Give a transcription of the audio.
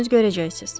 Özünüz görəcəksiniz.